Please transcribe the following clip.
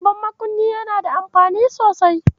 Babban makunni yana da amfani sosai.